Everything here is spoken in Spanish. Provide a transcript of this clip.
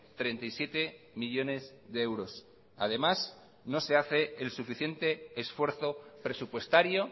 treinta y siete millónes de euros además no se hace el suficiente esfuerzo presupuestario